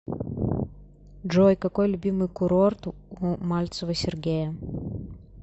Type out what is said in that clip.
джой какой любимый курорт у мальцева сергея